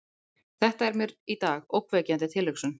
Þetta er mér í dag ógnvekjandi tilhugsun.